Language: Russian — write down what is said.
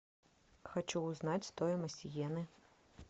хочу узнать стоимость йены